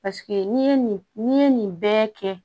Paseke n'i ye nin n'i ye nin bɛɛ kɛ